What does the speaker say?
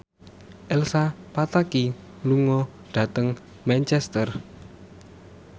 Elsa Pataky lunga dhateng Manchester